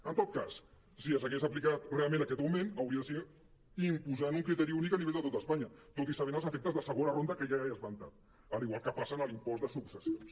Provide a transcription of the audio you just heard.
en tot cas si ja s’hagués aplicat realment aquest augment hauria de ser impo·sant un criteri únic a nivell de tot espanya tot i sabent els efectes de segona ronda que ja he esmentat igual que passa amb l’impost de successions